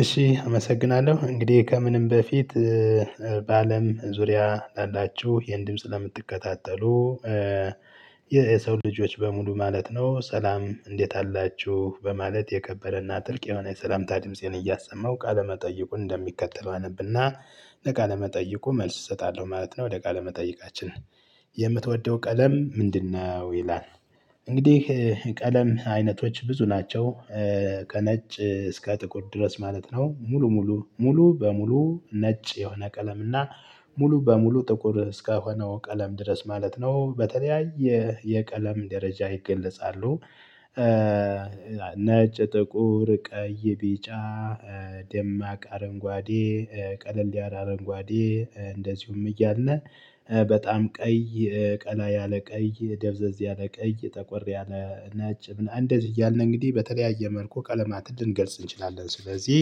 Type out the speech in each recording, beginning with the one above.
እሺ አመሰግናለሁ እንግዲህ ከምንም በፊት በአለም ዙሪያ ላላችሁ ይሄን ድምጽ ለምትከታተሉ የሰው ልጆች በሙሉ ማለት ነው ሰላም። እንዴት አላችሁ በማለት የከበረና ጥልቅ የሆነ የሰላምታ ድምፄን እያሰማው ቃለመጠየቁን እንደሚከተለው አነብና ለቃለ መጠየቁ መልስ እሰጣለሁ ማለት ነው ለቃለ መጠይቃችን የምትወደው ቀለም ምንድነው? ይላል። እንግዲህ ቀለም አይነቶች ብዙ ናቸው። ከነጭ እስከ ጥቁር ድረስ ማለት ነው ሙሉ ሙሉ ሙሉ በሙሉ ነጭ የሆነ ቀለም እና ሙሉ በሙሉ ጥቁር እስከሆነው ቀለም ድረስ ማለት ነው በተለያየ የቀለም ደረጃ ይገለጻሉ። ነጭ ጥቁር ቀይ ቢጫ ደማቅ አረንጓዴ ቀለል ያለ አረንጓዴ እንደዚሁም እያለ በጣም ቀይ ቀላ ያለ ቀይ ደብዘዝ ያለ ቀይ ጠቆር ያለ ነጭ ምናምን አንደት እያልን እንግዲህ በተለያየ መልኩ ቀለማት ልንገልጽ እንችላለን። ስለዚህ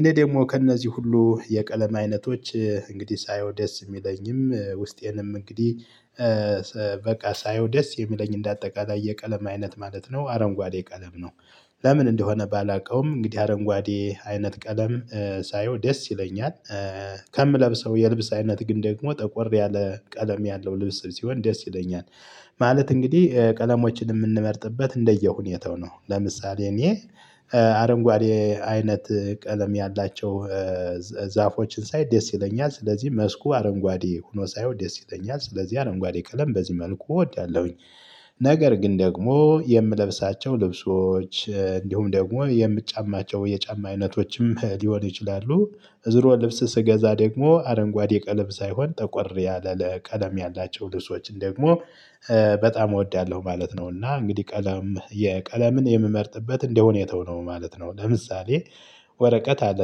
እኔ ደግሞ ከእነዚህ ሁሉ የቀለም አይነቶች እንግዲህ ሳየው ደስ የሚለኝም ውስጤንም እንግዲህ በቃ ሳየው ደስ የሚለኝ እንደ አጠቃላይ የቀለም አይነት ማለት ነው። አረንጓዴ ቀለም ነው። ለምን እንደሆነ ባላውቀውም እንግዲህ አረንጓዴ አይነት ቀለም ሳየው ደስ ይለኛል። ከምለብሰው የልብስ አይነት ግን ደግሞ ጠቆር ያለ ቀለም ያለው ልብስ ሲሆን ደስ ይለኛል። ማለት እንግዲህ ቀለሞችን የምንመርጥበት እንደየሁኔታው ነው። ለምሳሌ እኔ አረንጓዴ አይነት ቀለም ያላቸው ዛፎችን ሳይ ደስ ይለኛል ስለዚህ መስኩ አረንጓዴ ሆኖ ሳይሆን ደስ ይለኛል ስለዚህ አረንጓዴ ቀለም በዚህ መልኩ እወዳለሁኝ። ነገር ግን ደግሞ የምለብሳቸው ልብሶች እንዲሁም ደግሞ የምጫማቸው የጫማ አይነቶችም ሊሆን ይችላሉ። ዝሮ ልብስ ስገዛ ደግሞ አረንጓዴ ቀለም ሳይሆን ጠቆር ያለ ቀለም ያላቸው ልብሶችን ደግሞ በጣም እወዳለሁ ማለት ነው። እና እንግዲህ ቀለም የቀለምን የምመርጥበት እንደ ሁኔታው ነው ማለት ነው። ለምሳሌ ወረቀት አለ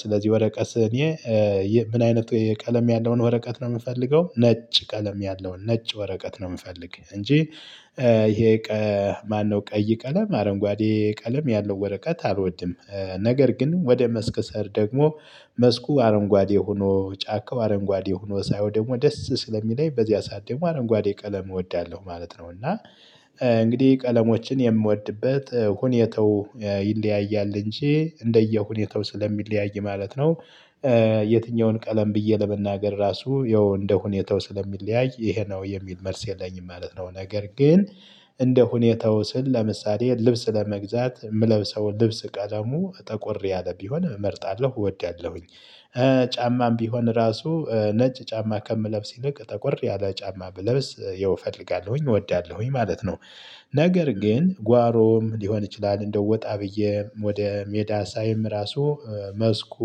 ስለዚህ ወረቀት እኔ ምን አይነት የቀለም ያለውን ወረቀት ነው የምፈልገው ነጭ ቀለም ያለውን ነጭ ወረቀት ነው የምፈልግ እንጂ። ማነው ቀይ ቀለም አረንጓዴ ቀለም ያለው ወረቀት አልወድም። ነገር ግን ወደ መስክ ሰሄድ ደግሞ መስኩ አረንጓዴ ሆኖ ጫካው አረንጓዴ ሆኖ ሳይሆን ደግሞ ደስ ስለሚለኝ በዚያ ሰዓት ደግሞ አረንጓዴ ቀለም እወዳለሁ ማለት ነው እና እንግዲህ ቀለሞችን የምወድበት ሁኔታው ይለያያል እንጂ እንደየሁኔታው ስለሚለያይ ማለት ነው። የትኛውን ቀለም ብዬ ለመናገር ራሱ ያው እንደሁኔታው ስለሚለያይ ይሄ ነው የሚል መልስ የለኝም ማለት ነው። ነገር ግን እንደ ሁኔታው ስል ለምሳሌ ልብስ ለመግዛት የምለብሰው ልብስ ቀለሙ ጠቆር ያለ ቢሆን እመርጣለሁ እወዳለሁኝ። ጫማም ቢሆን ራሱ ነጭ ጫማ ከምለብስ ይልቅ ጠቆር ያለ ጫማ ብለብስ ይኸው እፈልጋለሁኝ እወዳለሁኝ ማለት ነው። ነገር ግን ጓሮም ሊሆን ይችላል እንደው ወጣ ብዬ ወደ ሜዳ ሳይም ራሱ መስኩ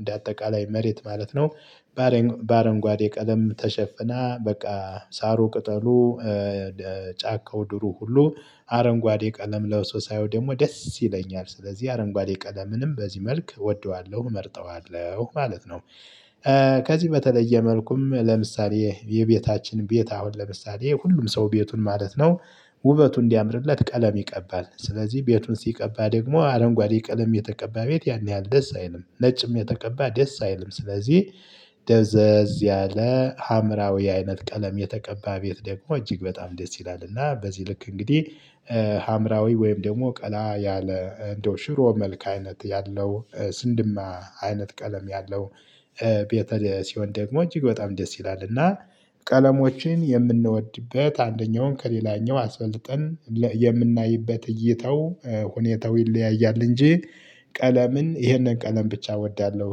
እንደ አጠቃላይ መሬት ማለት ነው። ባረንጓዴ ቀለም ተሸፍና በቃ ሳሩ ቅጠሉ ጫካው ድሩ ሁሉ አረንጓዴ ቀለም ለብሶ ሳየው ደግሞ ደስ ይለኛል ስለዚህ አረንጓዴ ቀለምንም በዚህ መልክ እወደዋለሁ እመርጠዋለሁ ማለት ነው። ከዚህ በተለየ መልኩም ለምሳሌ የቤታችን ቤት አሁን ለምሳሌ ሁሉም ሰው ቤቱን ማለት ነው። ውበቱ እንዲያምርለት ቀለም ይቀባል ስለዚህ ቤቱን ሲቀባ ደግሞ አረንጓዴ ቀለም የተቀባ ቤት ያን ያህል ደስ አይልም ነጭም የተቀባ ደስ አይልም ስለዚህ ደብዘዝ ያለ ሀምራዊ አይነት ቀለም የተቀባ ቤት ደግሞ እጅግ በጣም ደስ ይላል። እና በዚህ ልክ እንግዲህ ሀምራዊ ወይም ደግሞ ቀላ ያለ እንደው ሽሮ መልክ አይነት ያለው ስንድማ አይነት ቀለም ያለው ቤተ ሲሆን ደግሞ እጅግ በጣም ደስ ይላልና። ቀለሞችን የምንወድበት አንደኛውን ከሌላኛው አስበልጠን የምናይበት እይታው ሁኔታው ይለያያል እንጂ ቀለምን ይሄንን ቀለም ብቻ እወዳለሁ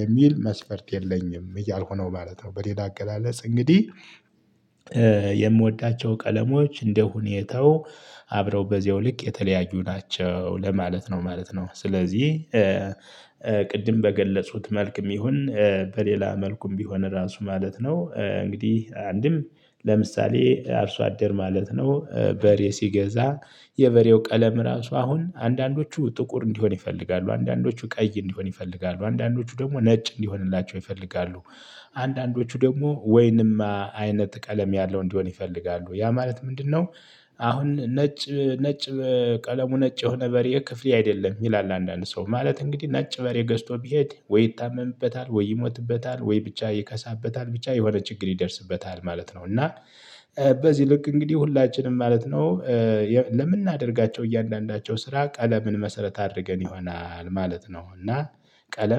የሚል መስፈርት የለኝም እያልሁ ነው ማለት ነው። በሌላ አገላለጽ እንግዲህ የምወዳቸው ቀለሞች እንደሁኔታው አብረው በዚህው ልክ የተለያዩ ናቸው ለማለት ነው ማለት ነው። ስለዚህ ቅድም በገለጹት መልክም ይሁን በሌላ መልኩም ቢሆን ራሱ ማለት ነው። እንግዲህ አንድም አርሶ አደር ማለት ነው በሬ ሲገዛ የበሬው ቀለም ራሱ አሁን አንዳንዶቹ ጥቁር እንዲሆን ይፈልጋሉ አንዳንዶቹ ቀይ እንዲሆን ይፈልጋሉ አንዳንዶቹ ደግሞ ነጭ እንዲሆንላቸው ይፈልጋሉ። አንዳንዶቹ ደግሞ ወይንማ አይነት ቀለም ያለው እንዲሆን ይፈልጋሉ ያ ማለት ምንድነው? አሁን ነጭ ነጭ ቀለሙ ነጭ የሆነ በሬ ክፍሌ አይደለም ይላል አንዳንድ ሰው ማለት እንግዲህ ነጭ በሬ ገዝቶ ቢሄድ ወይ ይታመምበታል ወይ ይሞትበታል ወይ ብቻ ይከሳበታል ብቻ የሆነ ይደርስበታል ማለት ነው። እና በዚህ ልክ እንግዲህ ሁላችንም ማለት ነው። ለምናደርጋቸው እያንዳንዳቸው ስራ ቀለምን መሰረት አድርገን ይሆናል ማለት ነው። እና ቀለም